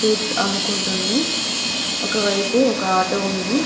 Fruits అమ్ముకుంటుంది ఒకవైపు ఒక ఆటో ఉంది.